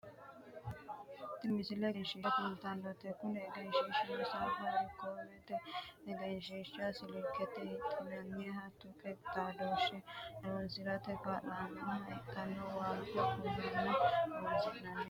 tini misile egenshiishsha kultannote kuni egenshiishshino safaarikoomete egenshiishsha silkete hidhinanniha tuqu xaadooshshe horonsirate kaa'lannoha hidhinanni waaga kulannohonna horosino kulanni nooho